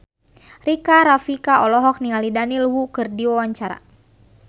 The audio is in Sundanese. Rika Rafika olohok ningali Daniel Wu keur diwawancara